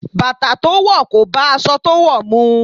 Bàtà to wò kò bá aṣọ to wò mu.